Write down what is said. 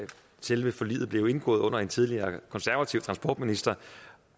selve forliget blev indgået under en tidligere konservativ transportminister